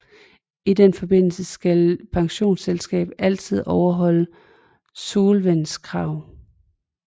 I den forbindelse skal et pensionsselskab altid overholde solvenskrav